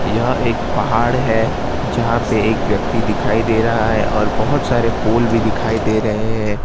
यह एक पहाड़ है जहाँ पे एक व्यक्ति दिखाई दे रहा है और बोहोत सारे पोल भी दिखाई दे रहे हैं।